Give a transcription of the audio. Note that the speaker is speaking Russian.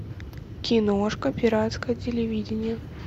киношка пиратское телевидение